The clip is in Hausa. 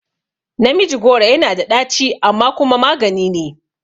Namiji goro yana da ɗaci amma kuma maganine